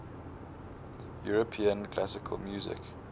european classical music